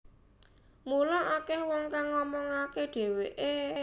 Mula akeh wong kang ngomongake dheweke